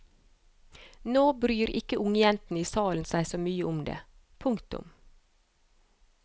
Nå bryr ikke ungjentene i salen seg så mye om det. punktum